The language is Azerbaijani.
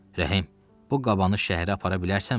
Rəhim, bu qabanı şəhərə apara bilərsənmi?